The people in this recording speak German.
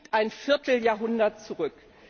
Das liegt ein Vierteljahrhundert zurück!